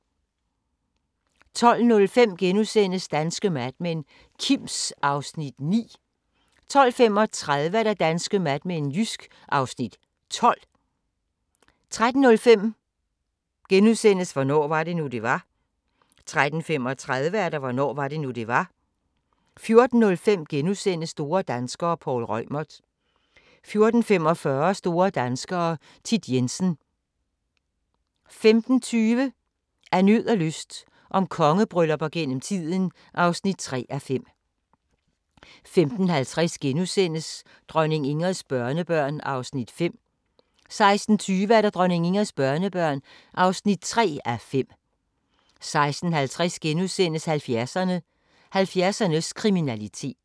12:05: Danske Mad Men: Kims (Afs. 9)* 12:35: Danske Mad Men: Jysk (Afs. 12) 13:05: Hvornår var det nu, det var? * 13:35: Hvornår var det nu, det var? 14:05: Store danskere - Poul Reumert * 14:45: Store danskere - Thit Jensen 15:20: Af nød og lyst – om kongebryllupper gennem tiden (3:5) 15:50: Dronning Ingrids børnebørn (2:5)* 16:20: Dronning Ingrids børnebørn (3:5) 16:50: 70'erne: 70'ernes kriminalitet *